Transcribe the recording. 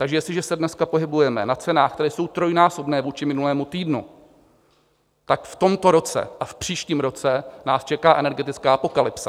Takže jestliže se dneska pohybujeme na cenách, které jsou trojnásobné vůči minulému týdnu, tak v tomto roce a v příštím roce nás čeká energetická apokalypsa.